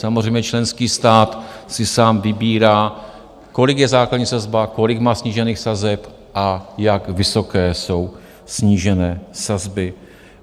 Samozřejmě členský stát si sám vybírá, kolik je základní sazba, kolik má snížených sazeb a jak vysoké jsou snížené sazby.